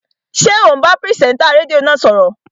Ṣé ò ń bá pìrìsẹ́ńtà rédíò náà sọ̀rọ̀?